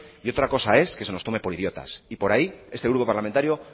y otra cosa es que se nos tome por idiotas y por ahí este grupo parlamentario